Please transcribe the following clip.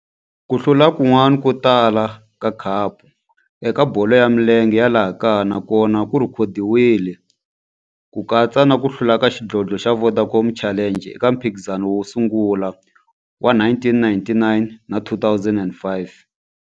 Ku hlula kun'wana ko tala ka khapu eka bolo ya milenge ya laha kaya na kona ku rhekhodiwile, ku katsa na ku hlula ka xidlodlo xa Vodacom Challenge eka mphikizano wo sungula wa 1999 na 2005.